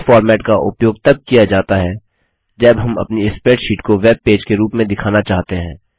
इस फॉर्मेट का उपयोग तब किया जाता है जब हम अपनी स्प्रैडशीट को वेब पेज के रूप में दिखाना चाहते हैं